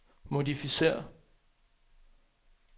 modificér